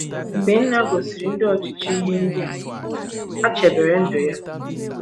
Mgbe Nna gosiri ndị ọchịchị ihe ndị a, ha chebere ndụ ya.